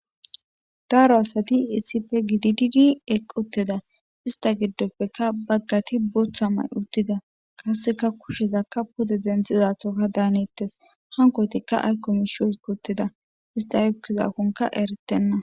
Daaro asati isipe gidididi eqqutteda ista giddoppeka baggati bootha may uddida kasseka kushezakka pude denxizathoka daanittes hankoytikka aykkomishoy qottida ista yukkizakkonka eretenna.